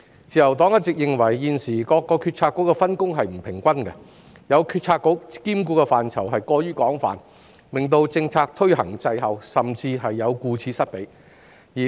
自由黨一直認為現時各個政策局的分工不均，有些政策局兼顧的範疇過於廣泛，令推行政策的工作滯後，甚至顧此失彼。